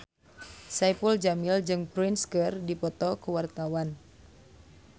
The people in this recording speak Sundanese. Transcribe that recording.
Saipul Jamil jeung Prince keur dipoto ku wartawan